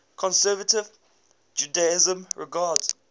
conservative judaism regards